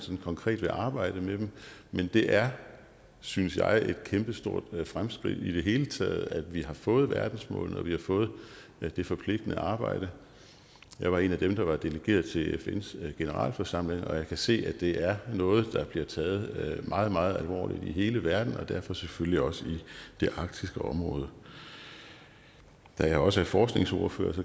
konkret vil arbejde med dem men det er synes jeg et kæmpestort fremskridt i det hele taget at vi har fået verdensmålene og at vi har fået det forpligtende arbejde jeg var en af dem der var delegeret til fns generalforsamling og jeg kan se at det er noget der bliver taget meget meget alvorligt i hele verden og derfor selvfølgelig også i det arktiske område da jeg også er forskningsordfører